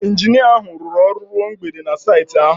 Injinia ahụ rụrụ ọrụ ruo mgbede na saịtị ahụ